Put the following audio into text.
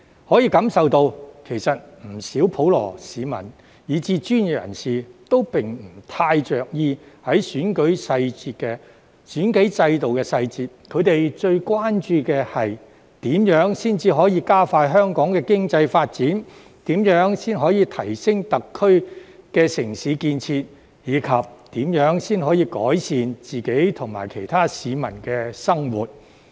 可以感受到，其實不少普羅市民以至專業人士都不太着意選舉制度的細節；他們最關注的是，如何加快香港的經濟發展、如何提升特區的城市建設，以及如何改善自己及其他市民的生活。